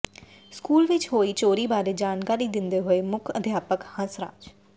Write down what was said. school ਵਿਚ ਹੋਈ ਚੋਰੀ ਬਾਰੇ ਜਾਣਕਾਰੀ ਦਿੰਦੇ ਹੋਏ ਮੁੱਖ ਅਧਿਆਪਕ ਹੰਸ ਰਾਜ